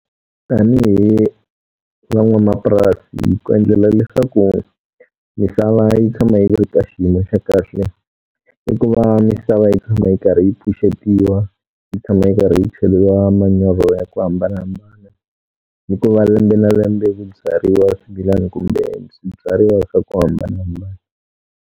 Tanihi van'wamapurasi ku endlela leswaku misava yi tshama yi ri ka xiyimo xa kahle, i ku va misava yi tshama yi karhi yi pfuxetiwa, yi tshama yi karhi yi cheriwa manyoro ya ku hambanahambana, ni ku va lembe na lembe ku byariwa swibyariwa swimilana kumbe swibyariwa swa ku hambanahambana.